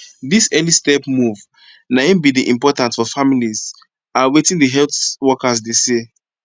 this early step move na em be the important for families a wetin the health workers de say